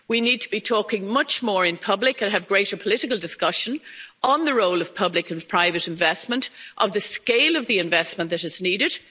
We need to be talking much more in public and have greater political discussion on the role of public and private investment, of the scale of the investment that is needed.